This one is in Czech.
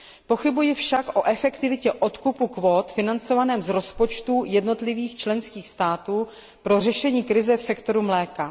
Pochybuji však o efektivitě odkupu kvót financovaného z rozpočtu jednotlivých členských států pro řešení krize v sektoru mléka.